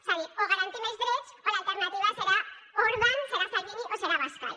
és a dir o garantim els drets o l’alternativa serà orbán serà salvini o serà abascal